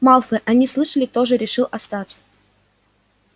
малфой они слышали тоже решил остаться